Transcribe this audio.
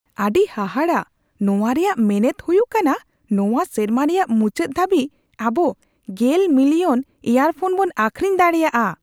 ᱟᱹᱰᱤ ᱦᱟᱦᱟᱲᱟ ! ᱱᱚᱶᱟ ᱨᱮᱭᱟᱜ ᱢᱮᱱᱮᱫ ᱦᱩᱭᱩᱜ ᱠᱟᱱᱟ ᱱᱚᱶᱟ ᱥᱮᱨᱢᱟ ᱨᱮᱭᱟᱜ ᱢᱩᱪᱟᱹᱫ ᱫᱷᱟᱹᱵᱤᱡ ᱟᱵᱚ ᱑᱐ ᱢᱤᱞᱤᱭᱚᱱ ᱤᱭᱟᱨᱯᱷᱚᱱ ᱵᱚᱱ ᱟᱹᱠᱷᱨᱤᱧ ᱫᱟᱲᱮᱹᱭᱟᱜᱼᱟ ᱾